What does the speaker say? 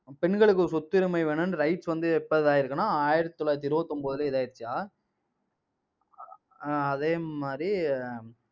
பெண்களுக்கு ஒரு சொத்துரிமை வேணும்ன்னு rights வந்து எப்ப இதா ஆயிருக்குன்னா, ஆயிரத்தி தொள்ளாயிரத்தி இருபத்தி ஒன்பதுல இதாயிடுச்சுயா அஹ் அதே மாதிரி